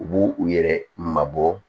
U b'u u yɛrɛ mabɔ